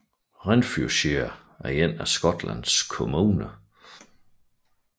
Renfrewshire er en af Skotlands kommuner